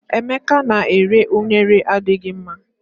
Emeka na-eri unere adighị mma.